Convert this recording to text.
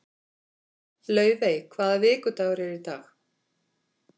Laufey, hvaða vikudagur er í dag?